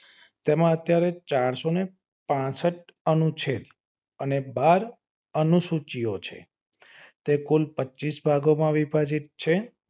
તેમાં અત્યારે ચારસો ને પાસંઠ અનુ છે અને બાર અનુસૂચિઓ છે. તે કુલ પચીસ ભાગોમાં વિભાજીત છે.